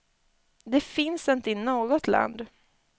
Det finns inte i något land.